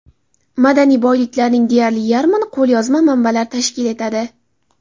Madaniy boyliklarning deyarli yarmini qo‘lyozma manbalar tashkil etadi.